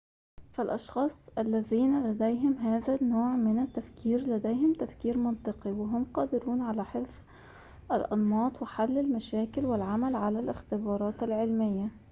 فالأشخاص الذين لديهم هذا النوع من التفكير لديهم تفكير منطقي وهم قادرون على حفظ الأنماط وحل المشاكل والعمل على الاختبارات العلمية